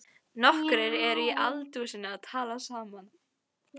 Nokkrir eru í eldhúsinu að tala saman.